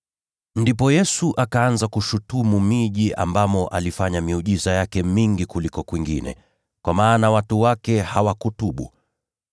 Ndipo Yesu akaanza kushutumu miji ambamo alifanya miujiza yake mingi kuliko kwingine, kwa maana watu wake hawakutubu.